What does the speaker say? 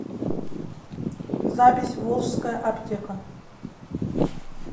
запись волжская аптека